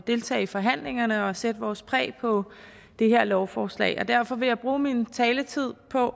deltage i forhandlingerne og sætte vores præg på det her lovforslag derfor vil jeg bruge min taletid på